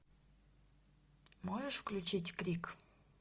можешь включить крик